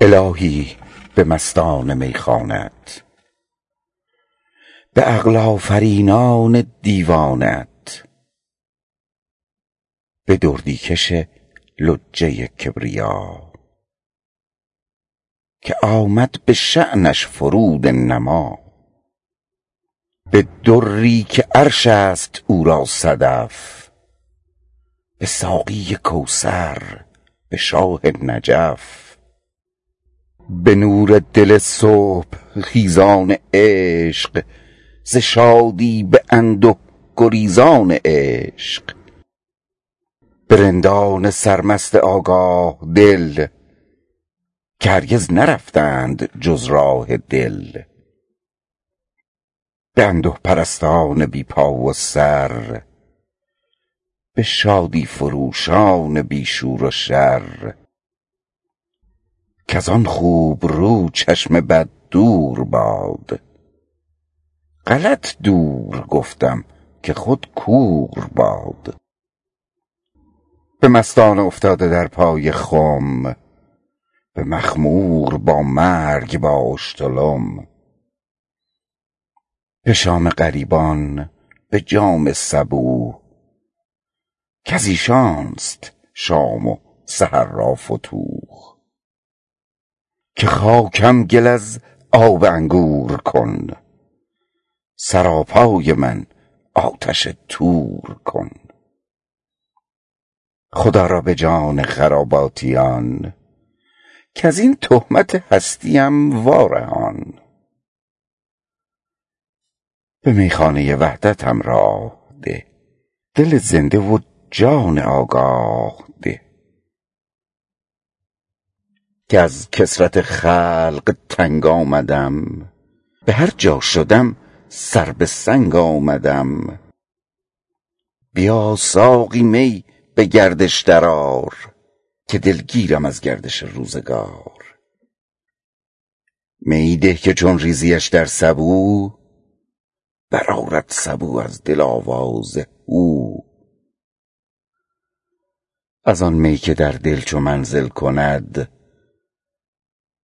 الهی به مستان میخانه ات به عقل آفرینان دیوانه ات به دردی کش لجه کبریا که آمد به شأنش فرود انما به دری که عرش است او را صدف به ساقی کوثر به شاه نجف به نور دل صبح خیزان عشق ز شادی به انده گریزان عشق به رندان سر مست آگاه دل که هرگز نرفتند جز راه دل به انده پرستان بی پا و سر به شادی فروشان بی شور و شر کزان خوبرو چشم بد دور باد غلط دور گفتم که خود کور باد به مستان افتاده در پای خم به مخمور با مرگ با اشتلم بشام غریبان به جام صبوح کز ایشانست شام و سحر را فتوح که خاکم گل از آب انگور کن سرا پای من آتش طور کن خدا را به جان خراباتیان کزین تهمت هستیم وارهان به میخانه وحدتم راه ده دل زنده و جان آگاه ده که از کثرت خلق تنگ آمدم به هر جا شدم سر به سنگ آمدم بیا ساقیا می بگردش در آر که دلگیرم از گردش روزگار میی ده که چون ریزیش در سبو بر آرد سبو از دل آواز هو از آن می که در دل چو منزل کند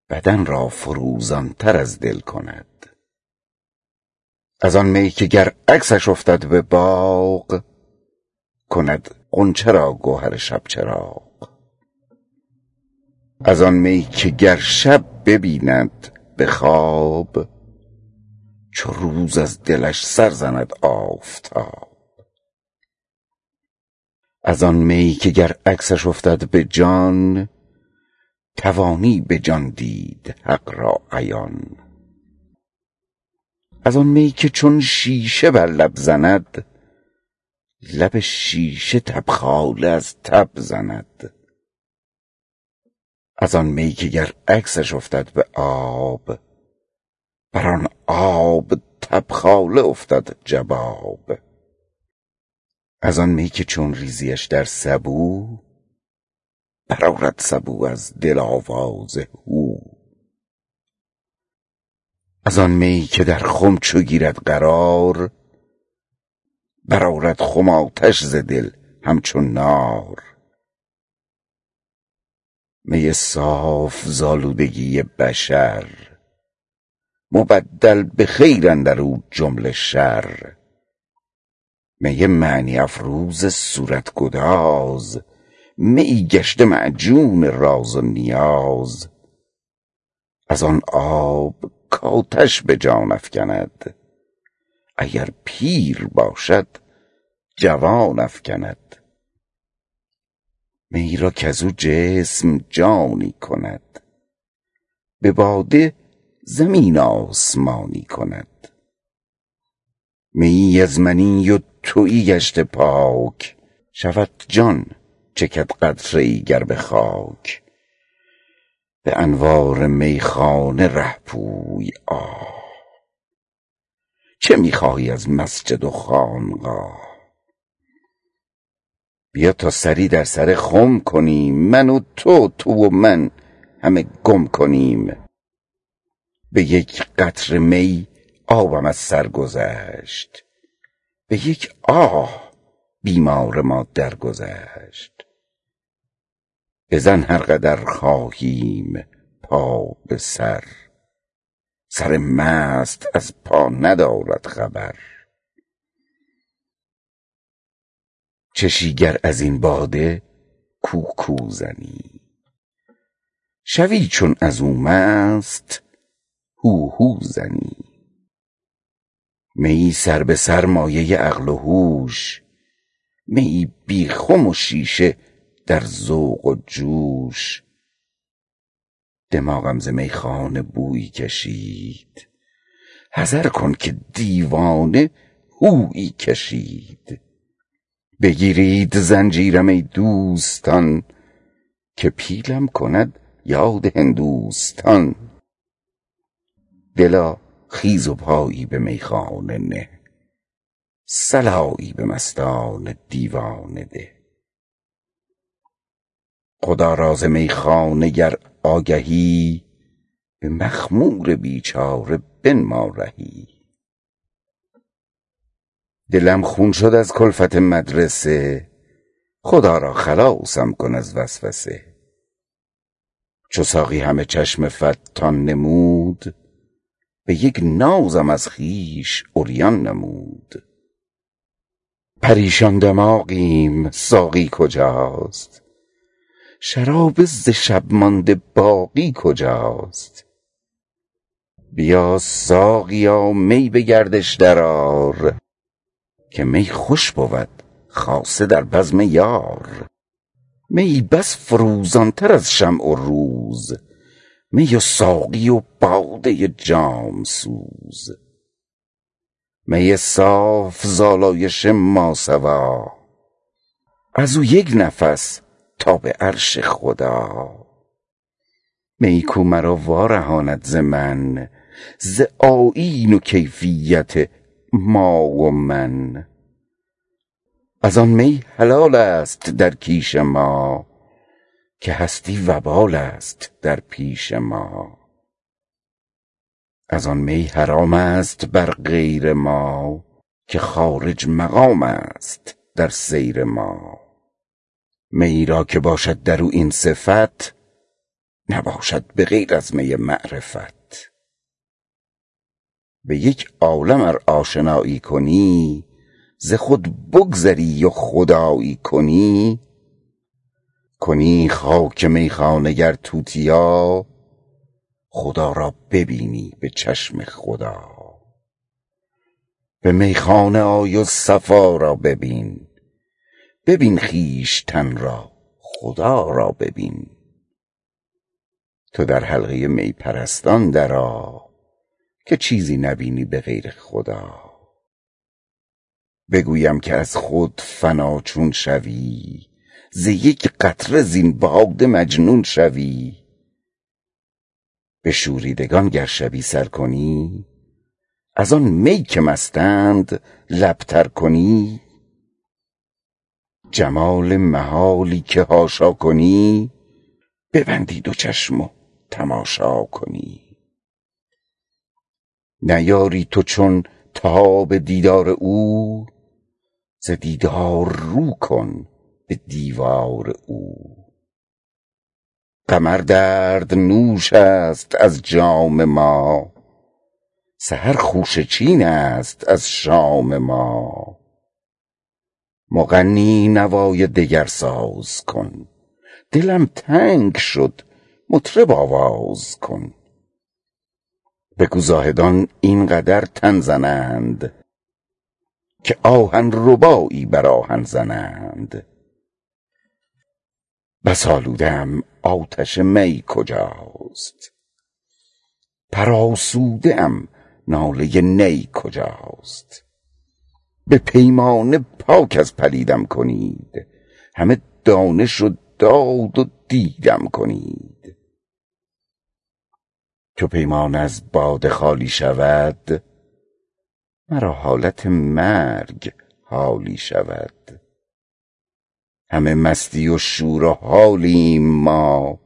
بدن را فروزان تر از دل کند از آن می که گر عکسش افتد بباغ کند غنچه را گوهر شبچراغ از آن می که گر شب ببیند به خواب چو روز از دلش سر زند آفتاب از آن می که گر عکسش افتد به جان توانی به جان دید حق را عیان از آن می که چون شیشه بر لب زند لب شیشه تبخاله از تب زند از آن می که گر عکسش افتد به آب بر آن آب تبخاله افتد جباب از آن می که چون ریزیش در سبو بر آرد سبو از دل آواز هو از آن می که در خم چو گیرد قرار بر آرد خم آتش ز دل همچو نار می صاف ز آلودگی بشر مبدل به خیر اندر او جمله شر می معنی افروز صورت گداز میی گشته معجون راز و نیاز از آن آب کاتش به جان افکند اگر پیر باشد جوان افکند میی را کزو جسم جانی کند بباده زمین آسمانی کند میی از منی و تویی گشته پاک شود جان چکد قطره ای گر به خاک به انوار میخانه ره پوی آه چه میخواهی از مسجد و خانقاه بیا تا سری در سر خم کنیم من و تو تو و من همه گم کنیم بیک قطره می آبم از سر گذشت به یک آه بیمار ما درگذشت بزن هر قدر خواهیم پا به سر سر مست از پا ندارد خبر چشی گر از این باده کو کو زنی شوی چون ازو مست هو هو زنی میی سر بسر مایه عقل و هوش میی بی خم و شیشه در ذوق و جوش دماغم ز میخانه بویی شنید حذر کن که دیوانه هویی شنید بگیرید زنجیرم ای دوستان که پیلم کند یاد هندوستان دلا خیز و پایی به میخانه نه صلایی به مستان دیوانه ده خدا را ز میخانه گر آگهی به مخمور بیچاره بنما رهی دلم خون شد از کلفت مدرسه خدا را خلاصم کن از وسوسه چو ساقی همه چشم فتان نمود به یک نازم از خویش عریان نمود پریشان دماغیم ساقی کجاست شراب ز شب مانده باقی کجاست بیا ساقیا می بگردش در آر که می خوش بود خاصه در بزم یار میی بس فروزان تر از شمع و روز می و ساقی و باده جام سوز می صاف ز الایش ما سوی ازو یک نفس تا بعرش خدا میی کو مرا وارهاند ز من ز آیین و کیفیت ما و من از آن می حلال است در کیش ما که هستی وبال است در پیش ما از آن می حرام است بر غیر ما که خارج مقام است در سیر ما میی را که باشد در او این صفت نباشد بغیر از می معرفت به این عالم ار آشنایی کنی ز خود بگذری و خدایی کنی کنی خاک میخانه گر توتیا خدا را ببینی بچشم خدا به میخانه آی و صفا را ببین مبین خویشتن را خدا را ببین تودر حلقه می پرستان در آ که چیزی نبینی بغیر خدا بگویم که از خود فنا چون شوی ز یک قطره زین باده مجنون شوی بشوریدگان گر شبی سر کنی از آن می که مستند لب تر کنی جمال محالی که حاشا کنی ببندی دو چشم و تماشا کنی نیاری تو چون تاب دیدار او ز دیدار رو کن به دیوار او قمر درد نوش است از جام ما سحر خوشه چین است از شام ما مغنی نوای دگر ساز کن دلم تنگ شد مطرب آواز کن بگو زاهدان اینقدر تن زنند که آهن ربایی بر آهن زنند بس آلوده ام آتش می کجاست پر آسوده ام ناله نی کجاست به پیمانه پاک از پلیدم کنید همه دانش و داد و دیدم کنید چو پیمانه از باده خالی شود مرا حالت مرگ حالی شود همه مستی و شور و حالیم ما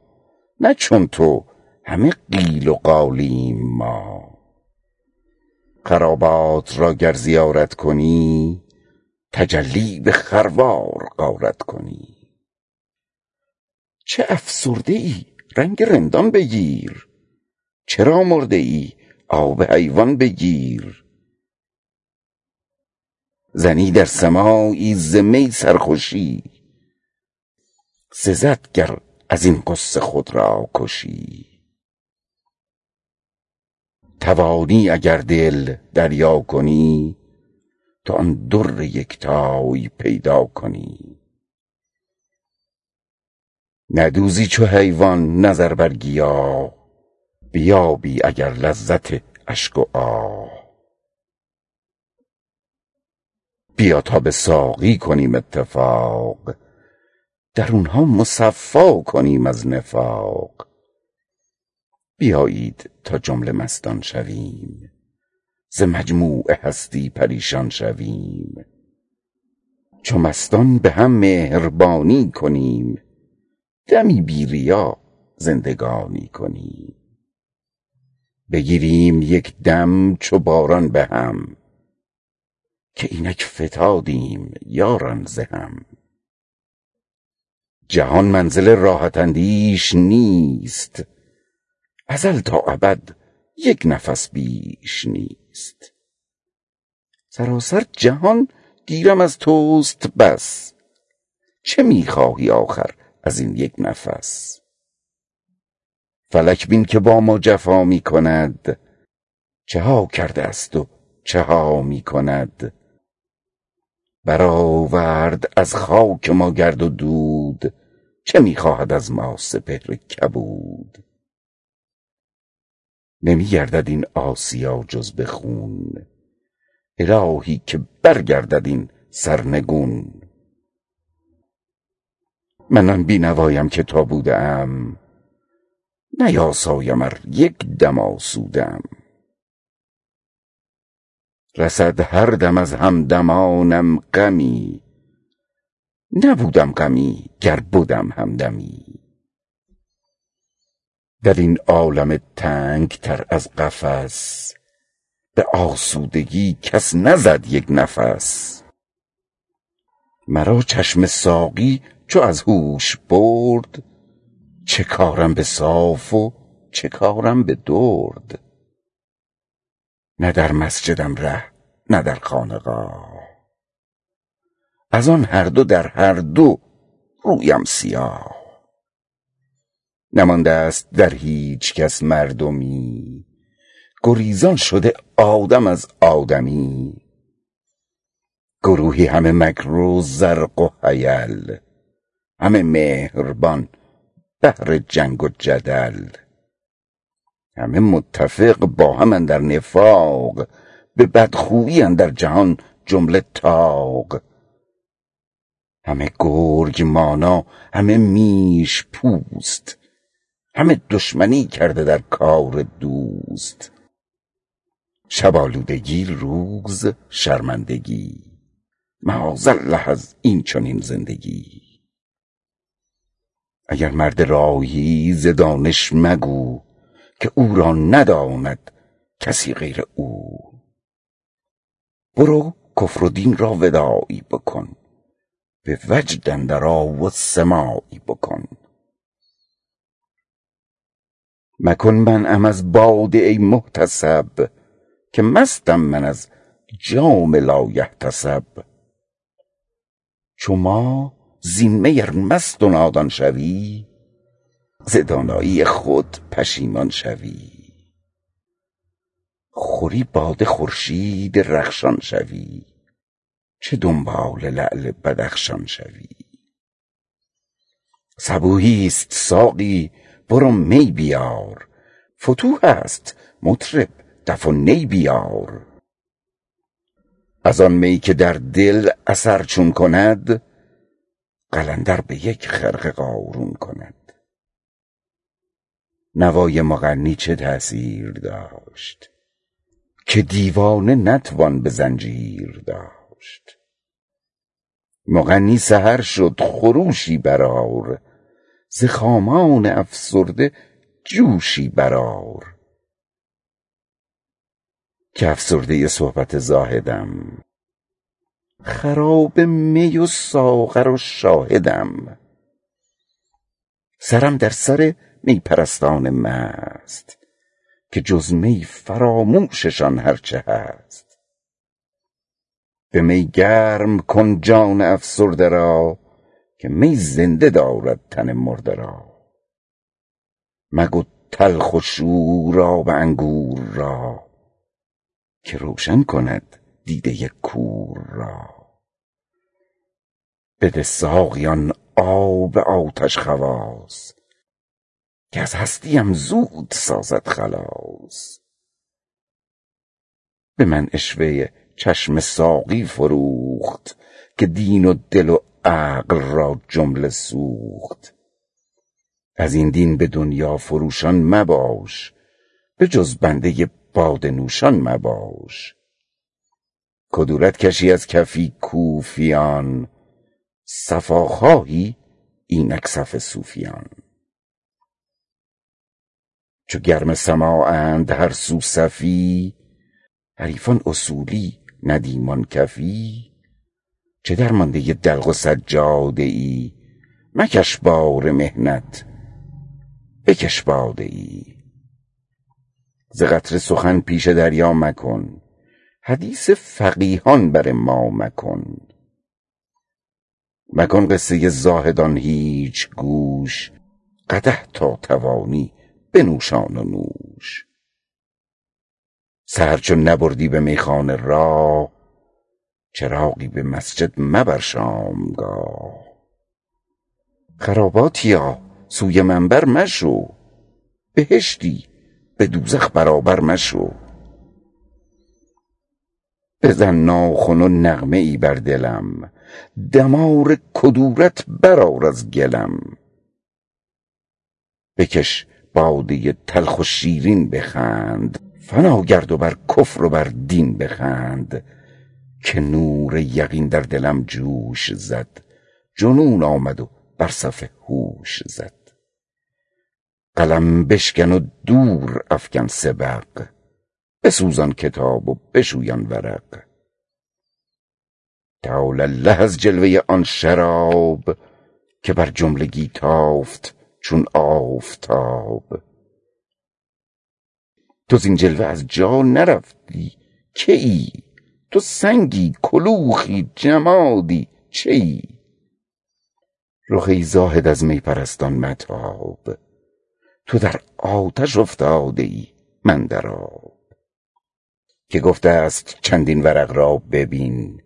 نه چون تو همه قیل و قالیم ما خرابات را گر زیارت کنی تجلی بخروار غارت کنی چه افسرده ای رنگ رندان بگیر چرا مرده ای آب حیوان بگیر زنی در سماعی ز می سرخوشی سزد گر ازین غصه خود را کشی توانی اگر دل دریا کنی تو آن در یکتای پیدا کنی ندوزی چو حیوان نظر بر گیاه بیابی اگر لذت اشک و آه بیا تا بساقی کنیم اتفاق درونها مصفا کنیم از نفاق بیایید تا جمله مستان شویم ز مجموع هستی پریشان شویم چو مستان بهم مهربانی کنیم دمی بی ریا زندگانی کنیم بگرییم یکدم چو باران بهم که اینک فتادیم یاران زهم جهان منزل راحت اندیش نیست ازل تا ابد یکنفس بیش نیست سراسر جهان گیرم از توست بس چه میخواهی آخر از این یکنفس فلک بین که با ما جفا میکند چها کرده است و چها میکند برآورد از خاک ما گرد و دود چه میخواهد از ما سپهر کبود نمیگردد این آسیا جز بخون الهی که برگردد این سرنگون من آن بینوایم که تا بوده ام نیاسایم ار یکدم آسوده ام رسد هر دم از همدمانم غمی نبودم غمی گر بدم همدمی در این عالم تنگ تر از قفس به آسودگی کس نزد یک نفس مرا چشم ساقی چو از هوش برد چه کارم به صاف و چه کارم به درد نه در مسجدم ره نه در خانقاه از آن هر دو در هر دو رویم سیاه نمانده است در هیچکس مردمی گریزان شده آدم از آدمی گروهی همه مکر و زرق و حیل همه مهربان بهر جنگ و جدل همه متفق با هم اندر نفاق به بدخویی اندر جهان جمله طاق همه گرگ مانا همه میش پوست همه دشمنی کرده در کار دوست شب آلودگی روز شرمندگی معاذ الله از اینچنین زندگی اگر مرد راهی ز دانش مگو که او را نداند کسی غیر او برو کفر و دین را وداعی بکن به وجد اندر آ و سماعی بکن مکن منعم از باده ای محتسب که مستم من از جام لا یحتسب چو ما زین می ار مست و نادان شوی ز دانایی خود پشیمان شوی خوری باده خورشید رخشان شوی چه دنبال لعل بدخشان شوی صبوح است ساقی برو می بیار فتوح است مطرب دف و نی بیار از ان می که در دل اثر چون کند قلندر بیک خرقه قارون کند نوای مغنی چه تأثیر داشت که دیوانه نتوان به زنجیر داشت مغنی سحر شد خروشی بر آر ز خامان افسرده جوشی بر آر که افسرده صحبت زاهدم خراب می و ساغر و شاهدم سرم در سر می پرستان مست که جزمی فراموششان هر چه هست به می گرم کن جان افسرده را که می زنده دارد تن مرده را مگو تلخ و شور آب انگور را که روشن کند دیده کور را بده ساقی آن آب آتش خواص که از هستیم زود سازد خلاص بمن عشوه چشم ساقی فروخت که دین و دل و عقل را جمله سوخت ازین دین به دنیا فروشان مباش بجز بنده باده نوشان مباش کدورت کشی از کف کوفیان صفا خواهی اینک صف صوفیان چو گرم سماعند هر سو صفی حریفان اصولی ندیمان کفی چه درمانده دلق و سجاده ای مکش بار محنت بکش باده ای ز قطره سخن پیش دریا مکن حدیث فقیهان بر ما مکن مکن قصه زاهدان هیچ گوش قدح تا توانی بنوشان و نوش سحر چون نبردی به میخانه راه چراغی به مسجد مبر شامگاه خراباتیا سوی منبر مشو بهشتی بدوزخ برابر مشو بزن ناخن و نغمه ای بر دلم دمار کدورت بر آر از گلم بکش باده تلخ و شیرین بخند فنا گرد و بر کفر و بر دین بخند که نور یقین در دلم جوش زد جنون آمد و بر صف هوش زد قلم بشکن و دور افکن سبق بسوزان کتاب و بشویان ورق تعالی الله از جلوه آن شراب که بر جملگی تافت چون آفتاب تو زین جلوه از جا نرفتی که ای تو سنگی کلوخی جمادی چه ای رخ ای زاهد از می پرستان متاب تو در آتش افتاده ای من در آب که گفته است چندین ورق را ببین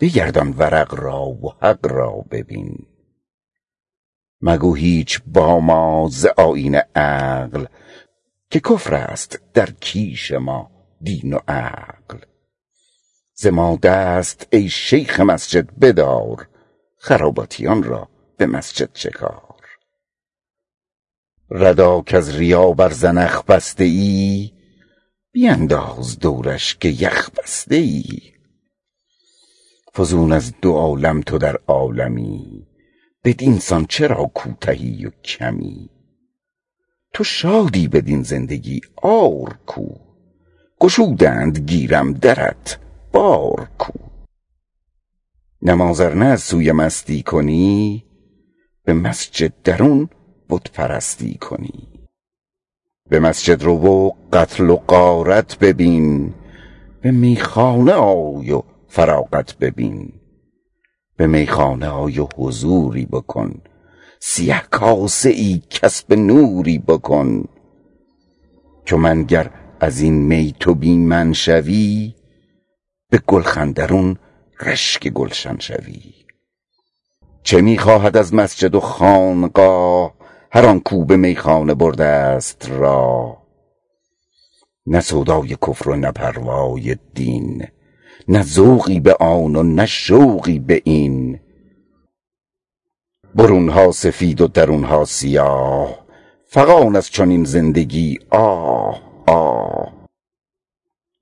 بگردان ورق را و حق را ببین مگو هیچ با ما ز آیین عقل که کفر است در کیش ما دین و عقل ز ما دست ای شیخ مسجد بدار خراباتیان را به مسجد چکار ردا کز ریا بر زنخ بسته ای بینداز دورش که یخ بسته ای فزون از دو عالم تو در عالمی بدینسان چرا کوتهی و کمی تو شادی بدین زندگی عار کو گشودند گیرم درت بار کو نماز ار نه از روی مستی کنی به مسجد درون بت پرستی کنی به مسجد رو و قتل و غارت ببین به میخاه آی و فراغت ببین به میخانه آی و حضوری بکن سیه کاسه ای کسب نوری بکن چو من گر ازین می تو بی من شوی بگلخن درون رشک گلشن شوی چه میخواهد از مسجد و خانقاه هر آنکو به میخانه برده است راه نه سودای کفر و نه پروای دین نه ذوقی به آن و نه شوقی به این برونها سفید و درونها سیاه فغان از چنین زندگی آه آه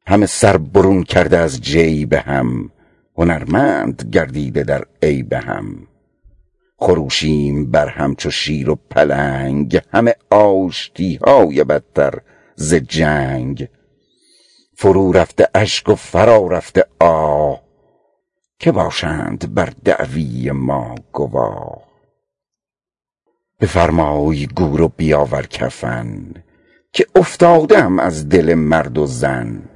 همه سر برون کرده از جیب هم هنرمند گردیده در عیب هم خروشیم بر هم چو شیر و پلنگ همه آشتیهای بدتر ز جنگ فرو رفته اشک و فرا رفته آه که باشند بر دعوی ما گواه بفرمای گور و بیاور کفن که افتاده ام از دل مرد و زن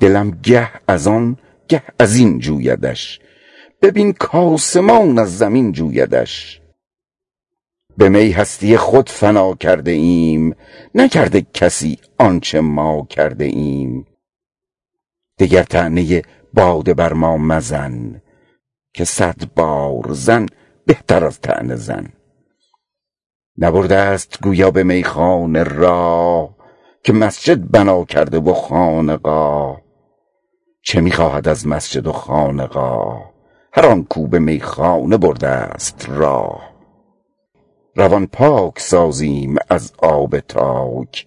دلم گه از آن گه ازین جویدش ببین کاسمان از زمین جویدش به می هستی خود فنا کرده ایم نکرده کسی آنچه ما کرده ایم دگر طعنه باده بر ما مزن که صد بار زن بهتر از طعنه زن نبردست گویا به میخانه راه که مسجد بنا کرده و خانقاه چه میخواهد از مسجد و خانقاه هر آنکو به میخانه بردست راه روان پاک سازیم از آب تاک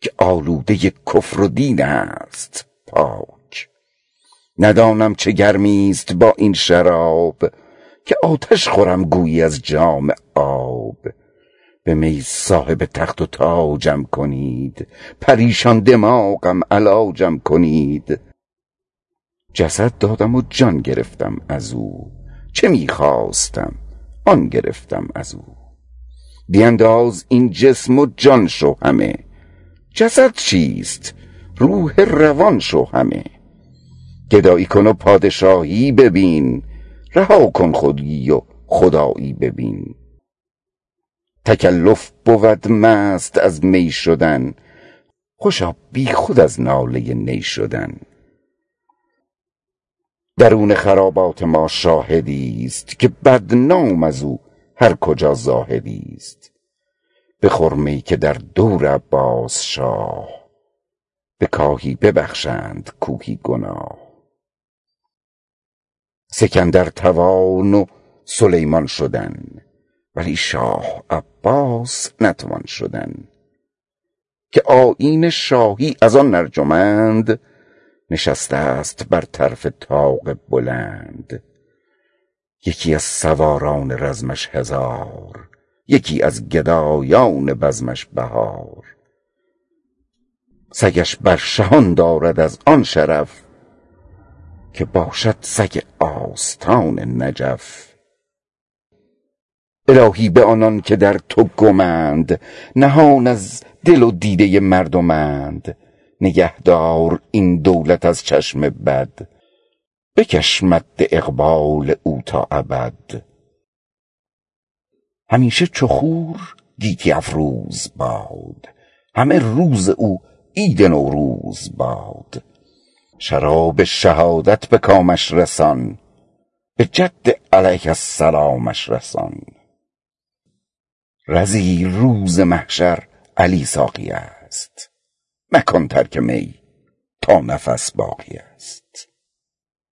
که آلوده کفر و دین است پاک ندانم چه گرمیست با این شراب که آتش خورم گویی از جام آب به می صاحب تخت و تاجم کنید پریشان دماغم علاجم کنید جسد دادم و جان گرفتم ازو چه میخواستم آن گرفتم ازو بینداز این جسم و جان شو همه جسد چیست روح روان شو همه گدایی کن و پادشاهی ببین رهاکن خودی و خدایی ببین تکلف بود مست از می شدن خوشا بیخود از ناله نی شدن درون خرابات ما شاهدیست که بدنام ازو هر کجا زاهدیست بخور می که در دور عباس شاه به کاهی ببخشند کوهی گناه سکندر توان و سلیمان شدن ولی شاه عباس نتوان شدن که آیین شاهی از آن ارجمند نشسته است برطرف طاق بلند یکی از سواران رزمش هزار یکی از گدایان بزمش بهار سگش بر شهان دارد از آن شرف که باشد سگ آستان نجف الهی به آنان که در تو گمند نهان از دل و دیده مردمند نگه دار این دولت از چشم بد بکش مد اقبال او تا ابد همیشه چو خور گیتی افروز باد همه روز او عید نوروز باد شراب شهادت بکامش رسان بجد علیه السلامش رسان رضی روز محشر علی ساقی است مکن ترک می تا نفس باقی است